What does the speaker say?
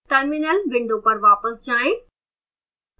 terminal window पर वापस जाएं